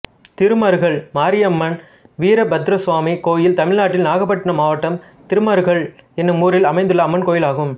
திருமருகல் மாரியம்மன் வீரபத்ரசுவாமி கோயில் தமிழ்நாட்டில் நாகப்பட்டினம் மாவட்டம் திருமருகல் என்னும் ஊரில் அமைந்துள்ள அம்மன் கோயிலாகும்